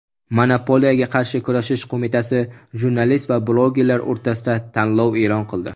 Monopoliyaga qarshi kurashish qo‘mitasi jurnalist va blogerlar o‘rtasida tanlov e’lon qildi.